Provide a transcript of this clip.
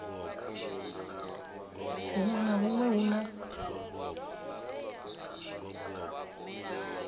hunwe na hunwe hune ha